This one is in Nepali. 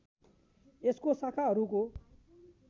यसको शाखाहरूको